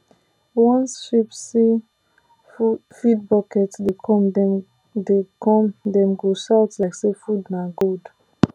once sheep see ?] feed bucket dey come dem dey come dem go shout like say food na gold